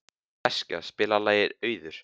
Eskja, spilaðu lagið „Auður“.